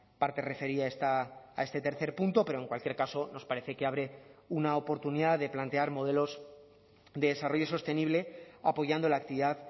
parte referida a este tercer punto pero en cualquier caso nos parece que abre una oportunidad de plantear modelos de desarrollo sostenible apoyando la actividad